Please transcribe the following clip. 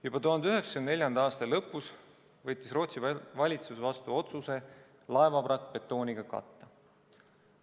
Juba 1994. aasta lõpus võttis Rootsi valitsus vastu otsuse laevavrakk betooniga katta.